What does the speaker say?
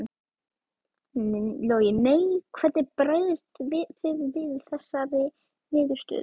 Logi: Nei, hvernig bregðist þið við þessari niðurstöðu?